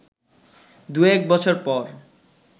দু এক বছর পর